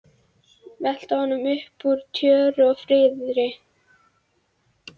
Velta honum upp úr tjöru og fiðri!